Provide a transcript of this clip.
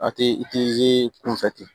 A tɛ i tɛ zi kunfɛ ten